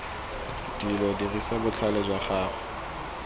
dilo dirisa botlhale jwa gago